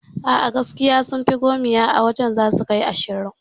A'a gaskiya sunfi gomiya a wajan zasu kai su ashirin